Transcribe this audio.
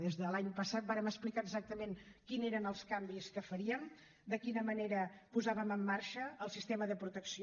des de l’any passat vàrem explicar exactament quins eren els canvis que faríem de quina manera posàvem en marxa el sistema de protecció